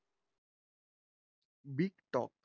Big talk.